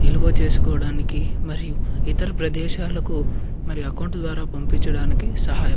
నిలువ చేసుకోవడానికి మరియు ఇతర ప్రదేశాలకు మరి అకౌంట్ ద్వారా పంపించడానికి సహాయ --